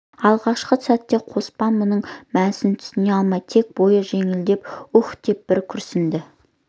алғашқы сәтте қоспан мұның мәнісіне түсіне алмай тек бойы жеңілдеп уһ деп бір күрсінді